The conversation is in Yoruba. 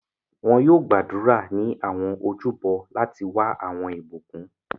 Wọn yoo gbàdúrà ni awọn ojúbọ láti wa awọn ibukun.